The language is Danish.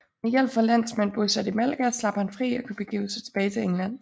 Med hjælp fra landsmænd bosat i Malaga slap han fri og kunne begive sig tilbage til England